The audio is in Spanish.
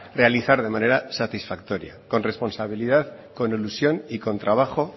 realizar de manera satisfactoria con responsabilidad con ilusión y con trabajo